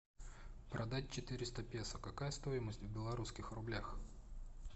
продать четыреста песо какая стоимость в белорусских рублях